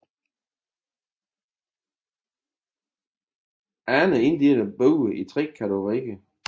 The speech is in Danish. Andre inddeler buer i tre kategorier